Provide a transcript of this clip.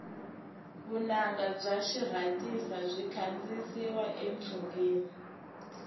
vunanga bya xirhasita byi kandiyisiwa etshungeni